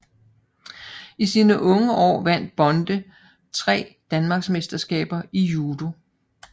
I sine unge år vandt Bonde 3 Danmarksmesterskaber i judo